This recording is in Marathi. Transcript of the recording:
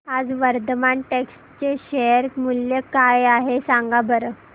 आज वर्धमान टेक्स्ट चे शेअर मूल्य काय आहे सांगा बरं